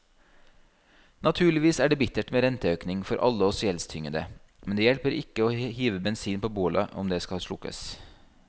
Naturligvis er det bittert med renteøkning for alle oss gjeldstyngede, men det hjelper ikke å hive bensin på bålet om det skal slukkes.